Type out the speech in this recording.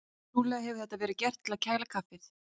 Trúlega hefur þetta verið gert til að kæla kaffið.